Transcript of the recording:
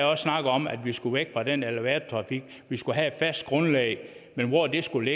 også snakket om at vi skulle væk fra den elevatortrafik at vi skulle have et fast grundlag men hvor det skulle